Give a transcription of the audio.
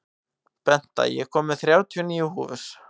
Benta, ég kom með þrjátíu og níu húfur!